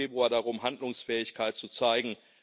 20. Februar darum, Handlungsfähigkeit zu zeigen.